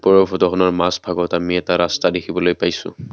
আৰু ফটোখনৰ মাজভাগত আমি এটা ৰাস্তা দেখিবলৈ পাইছো।